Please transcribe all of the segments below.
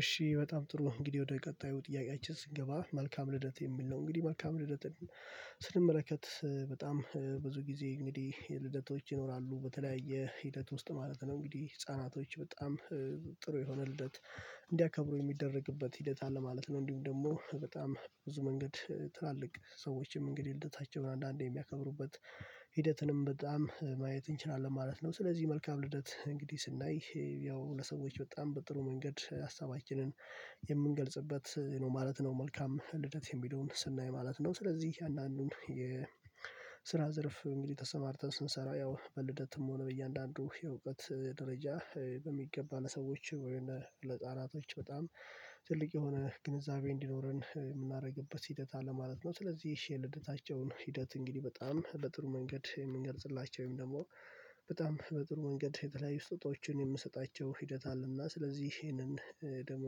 እሺ በጣም ጥሩ እንግዲህ ወደ ቀጣዩ ጥያቄያችን ስንገባ መልካም ልደት የሚል ነው እንግዲህ መልካም ልደትን ስንመለከት በጣም ብዙ ጊዜ እንግዲህ የልደቶች ይኖራሉ በተለያየ ሂደት ውስጥ ማለት ነው እንግዲህ ህፃናቶች በጣም ጥሩ የሆነ ልደት እንዲያከብሩ የሚደረግበት ሂደት አለ ማለት ነው። እንዲሁም ደግሞ በጣም ብዙ መንገድ ትላልቅ ሰዎችም እንግዲህ ልደታቸውን አንዳንዴ የሚያከብሩበት ሂደትንም በጣም ማየት እንችላለን ማለት ነው። ስለዚህ መልካም ልደት እንግዲህ ስናይ ያው ለሰዎች በጣም በጥሩ መንገድ ሀሳባችንን የምንገልጽበት ነው ማለት ነው። መልካም ልደት የሚለውን ስናይ ማለት ነው ስለዚህ አንዳንዱን የስራ ዘርፍ እንግዲህ ተሰማርተን ስንሰራ ያው በልደትም ሆነ በእያንዳንዱ የእውቀት ደረጃ በሚገባ ለሰዎች ወይንም ለጣናቶች በጣም ትልቅ የሆነ ግንዛቤ እንዲኖረን የምናደርግበት ሂደት አለ ማለት ነው። ስለዚህ የልደታቸውን ሂደት እንግዲህ በጣም በጥሩ መንገድ የምንገልጽላቸውም ደግሞ በጣም በጥሩ መንገድ የተለያዩ ስጦታዎችን የምንሰጣቸው ሂደት አለና ስለዚህ ይሄንን ደግሞ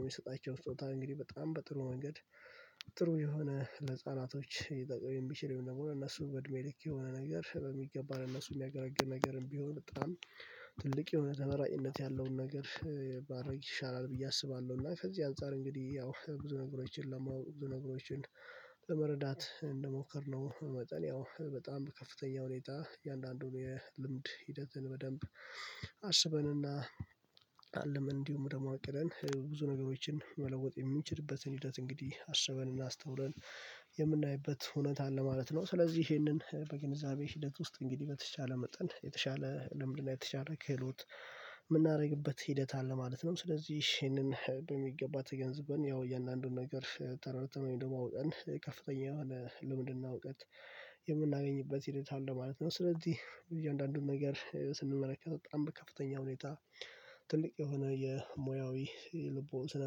የሚሰጣቸው ስጦታ እንግዲህ በጣም በጥሩ መንገድ ጥሩ የሆነ ለህፃናቶች ሊጠቅም የሚችል ይሆናል። እነሱ ወድሜ ልክ የሆነ ነገር በሚገባ እነሱ የሚያገራግር ነገርም ቢሆን በጣም ትልቅ የሆነ ተመራጭነት ያለውን ነገር ባደርግ ይሻላል ብዬ አስባለሁ። እና ከዚህ አንፃር እንግዲህ ያው ብዙ ነገሮችን ለመረዳት እንደሞከርነው መጠን ያው በጣም ከፍተኛ ሁኔታ የእያንዳንዱን የልምድ ሂደትን በደንብ አስበንና አልመን እንዲሁ ደግሞ አቅደን ብዙ ነገሮችን መለወጥ የምንችልበትን ሂደት እንግዲህ አስበን እና አስተውለን የምናይበት እውነት አለ ማለት ነው። ስለዚህ ይሄንን በግንዛቤ ሂደት ውስጥ እንግዲህ በተቻለ መጠን የተሻለ ለምንድነው የተሻለ ክህሎት የምናደርግበት ሂደት አለ ማለት ነው። ስለዚህ ይሄንን በሚገባ ተገንዝበን ያው የእያንዳንዱን ነገር ተረድተን ደግሞ አውጠን ከፍተኛ የሆነ ልምድና እውቀት የምናገኝበት ሂደት አለ ማለት ነው። ስለዚህ እያንዳንዱን ነገር ስንመለከት በጣም ከፍተኛ ሁኔታ ትልቅ የሆነ የሙያዊ ልቦና ስነ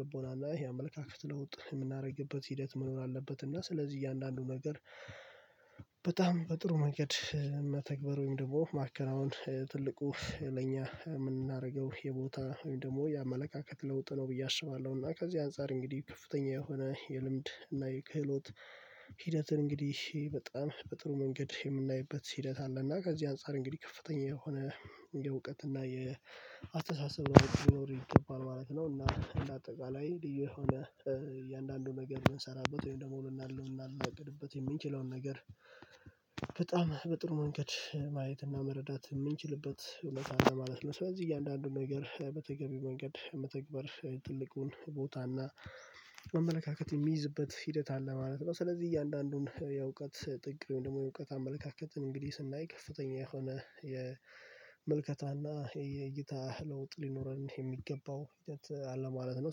ልቦና እና ይሄ አመለካከት ለውጥ የምናደርግበት ሂደት መኖር አለበት እና ስለዚህ እያንዳንዱ ነገር በጣም በጥሩ መንገድ መተግበር ወይም ደግሞ ማከናወን ትልቁ ለኛ የምናደርገው የቦታ ወይም ደግሞ የአመለካከት ለውጥ ነው ብዬ አስባለሁ። እና ከዚህ አንፃር እንግዲህ ከፍተኛ የሆነ የልምድ እና የክህሎት ሂደትን እንግዲህ በጣም በጥሩ መንገድ የምናይበት ሂደት አለ እና ከዚህ አንፃር እንግዲህ ከፍተኛ የሆነ የእውቀት እና የአስተሳሰብ ማወቅ ይኖር ይታወቃል ማለት ነው። እና እንደ አጠቃላይ የሆነ እያንዳንዱ ነገር የምንሰራበት ወይም ደግሞ እናልም እናልመግድበት የምንችለውን ነገር በጥሩ መንገድ ማየትና መረዳት የምንችልበት እውነት አለ ማለት ነው። በዚህ እያንዳንዱን ነገር በተገቢ መንገድ መተግበር ትልቁን ቦታ እና አመልካከት የሚይዝበት ሂደት አለ ማለት ነው። ስለዚህ እያንዳንዱን የእውቀት ጥቅም ደግሞ የእውቀት አመለካከትን እንግዲህ ስናይ ከፍተኛ የሆነ የምልከታና የእይታ ለውጥ ሊኖረን የሚገባው ሂደት አለ ማለት ነው።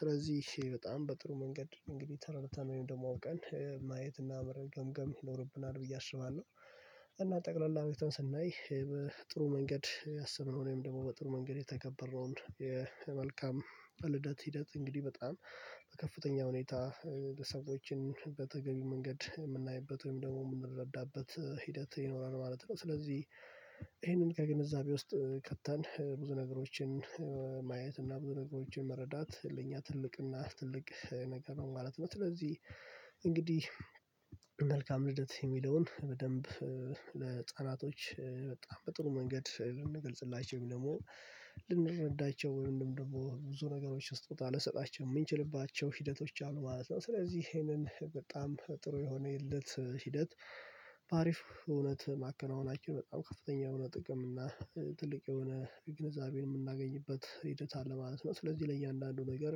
ስለዚህ በጣም በጥሩ መንገድ እንግዲህ ተረድተን ወይም ደግሞ አውቀን ማየት እና መረገምገም ይኖርብናል ብዬ አስባለሁ። ጠቅላላ ሁኔታውን ስናይ በጥሩ መንገድ አስቡን ሆነኝ ደግሞ በጥሩ መንገድ የተከበረውን የመልካም ልደት ሂደት እንግዲህ በጣም በከፍተኛ ሁኔታ ሰዎችን በተገቢ መንገድ የምናይበት ወይም ደግሞ የምንረዳበት ሂደት ይኖራል ማለት ነው ስለዚህ ይሄንን ከግንዛቤ ውስጥ ከተን ብዙ ነገሮችን ማየት እና ብዙ ነገሮችን መረዳት ለእኛ ትልቅ እና ትልቅ ነገር ነው ማለት ነው። ስለዚህ እንግዲህ መልካም ልደት የሚለውን በደንብ ለህፃናቶች በጣም በጥሩ መንገድ ልንገልጽላቸው ደግሞ ልንረዳቸው ወይ ምንም ደግሞ ብዙ ነገሮች ስጦታ ልንሰጣቸው የምንችልባቸው ሂደቶች አሉ ማለት ነው። ስለዚህ ይሄንን በጣም ጥሩ የሆነ የለት ሂደት በአሪፍ እውነት ማከናወን አችል በጣም ከፍተኛ የሆነ ጥቅም እና ትልቅ የሆነ ግንዛቤን የምናገኝበት ሂደት አለ ማለት ነው። ስለዚህ ለእያንዳንዱ ነገር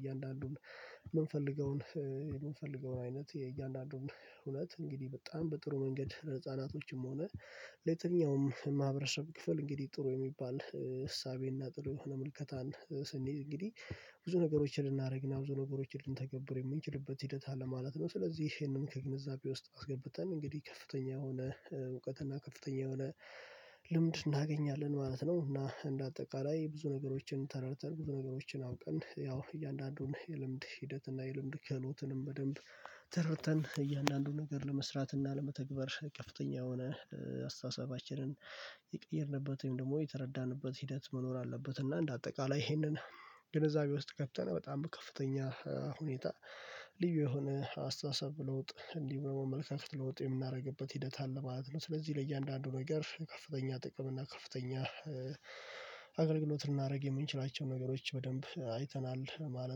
እያንዳንዱን የምንፈልገውን የምንፈልገውን አይነት የእያንዳንዱን እውነት እንግዲህ በጣም በጥሩ መንገድ ህፃናቶችም ሆነ ለየትኛውም ማህበረሰብ ክፍል እንግዲህ ጥሩ የሚባል እሳቤና ጥሩ የሆነ ምልከታን ስንይ እንግዲህ ብዙ ነገሮችን ልናደርግና ብዙ ነገሮችን ልንተገብር የምንችልበት ሂደት አለ ማለት ነው። ስለዚህ ይሄንን ከግንዛቤ ውስጥ አስገብተን እንግዲህ ከፍተኛ የሆነ እውቀት እና ከፍተኛ የሆነ ልምድ እናገኛለን ማለት ነው። እና እንደ አጠቃላይ ብዙ ነገሮችን ተረድተን ብዙ ነገሮችን አውቀን ያው እያንዳንዱን የልምድ ሂደትና የልምድ ክህሎትንም በደንብ ተረድተን እያንዳንዱን ነገር ለመስራትና ለመተግበር ቀፍተኛ የሆነ አስተሳሰባችንን የቀየርንበትን ደግሞ የተረዳንበት ሂደት መኖር አለበት እና እንደ አጠቃላይ ይሄንን ግንዛቤ ውስጥ ከተን በጣም ከፍተኛ ሁኔታ ልዩ የሆነ አስተሳሰብ ለውጥ እንዲህ በመመልከት ለውጥ የምናደርግበት ሂደት አለ ማለት ነው። ስለዚህ ለእያንዳንዱ ነገር ከፍተኛ ጥቅም እና ከፍተኛ አገልግሎት ልናደርግ የምንችላቸውን ነገሮች በደንብ አይተናል ማለት